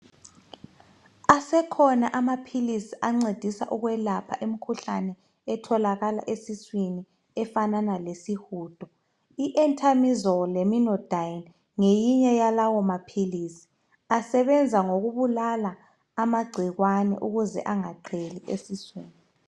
Asekhona amaphilisi ancedisa ukwelapha imkhuhlane etholakala esiswini efanana lesihudo I entamizole leminodine ngeminye yamaphilisi asebenza ngokubulala amagcikwane ukuze angaqheli esiswini.